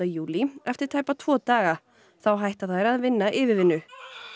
júlí eftir tæpa tvo daga þá hætta þær að vinna yfirvinnu